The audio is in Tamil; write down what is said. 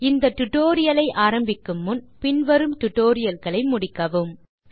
இந்த டியூட்டோரியல் ஐ ஆரம்பிக்கும் முன் நாம் நீங்கள் பின் வரும் டுடோரியல்களை முடித்திருக்க பரிந்துரைக்கிறோம்